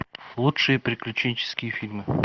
лучшие приключенческие фильмы